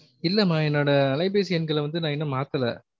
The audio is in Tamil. இல்லாம என்னோட அலைபேசி எண்களை வந்து நான் இன்னும் மாத்தல